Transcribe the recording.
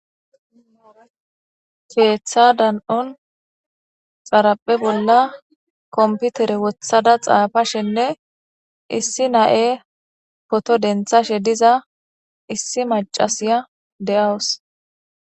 Keeththa dani'on xaraphe bollan kompitere woththada xaafashenne issi na'e poto denththashe diza issi maccasiya de'awus.